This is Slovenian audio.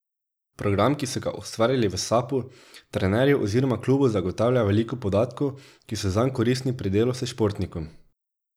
Program, ki so ga ustvarili v Sapu, trenerju oziroma klubu zagotavlja veliko podatkov, ki so zanj koristni pri delu s športnikom.